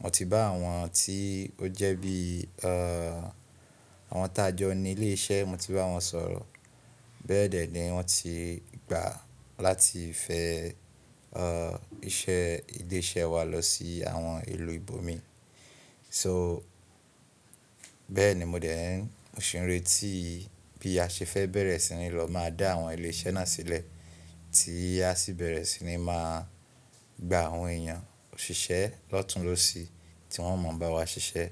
Mo ti bá àwọn tí ó jẹ́ bí, ẹ́, àwọn tájọ ní ilé iṣẹ́, mo ti bá wọn sọ̀rọ̀. Bẹ́ẹ̀dẹ́ ni wọ́n ti gbà láti fẹ́, ẹ́, iṣẹ́ ilé iṣẹ́ wa lọ sí àwọn ìlú ibòmíì. So bẹ́ẹ̀ni mo dẹ́rùn òṣèré tí bí a ṣe fẹ́ bẹ̀rẹ̀ sí ní lọ máa dá àwọn ilé iṣẹ́ náà sílẹ̀ tí a sì bẹ̀rẹ̀ sí ní máa gba àwọn èèyàn òṣìṣẹ́ lọ́tunlosì tí wọ́n mọ̀ bá wa ṣiṣẹ́